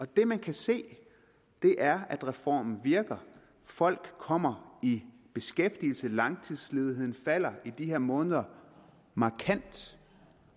det man kan se er at reformen virker folk kommer i beskæftigelse langtidsledigheden falder i de her måneder markant